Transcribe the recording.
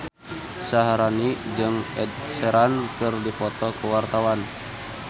Syaharani jeung Ed Sheeran keur dipoto ku wartawan